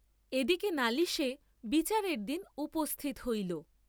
এ দিকে নালিশে বিচারের দিন উপস্থিত হইল।